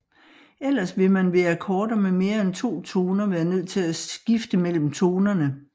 Ellers vil man ved akkorder med mere end to toner være nødt til at skifte mellem tonerne